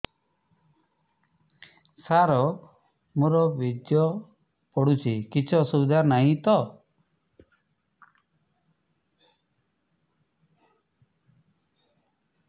ସାର ମୋର ବୀର୍ଯ୍ୟ ପଡୁଛି କିଛି ଅସୁବିଧା ନାହିଁ ତ